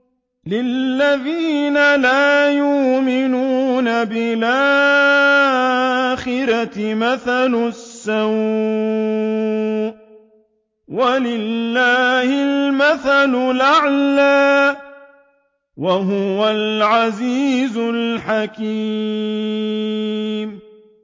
لِلَّذِينَ لَا يُؤْمِنُونَ بِالْآخِرَةِ مَثَلُ السَّوْءِ ۖ وَلِلَّهِ الْمَثَلُ الْأَعْلَىٰ ۚ وَهُوَ الْعَزِيزُ الْحَكِيمُ